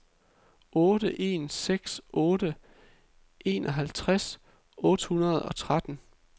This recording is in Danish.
otte en seks otte enoghalvtreds otte hundrede og tretten